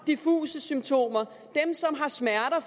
diffuse symptomer dem som har smerter og